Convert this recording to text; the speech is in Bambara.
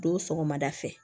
Don sɔgɔmada fɛ